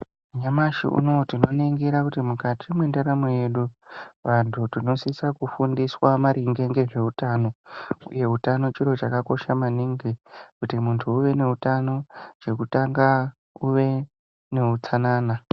Nyamashi uno uyu tinoningira kuti mukati mentaramo yedu, vantu tinosise kufundiswa maringe ngezveutano, uye hutano chiro chakakosha maningi, kuti muntu uve nehutano chokutanga kuve nehutsanana.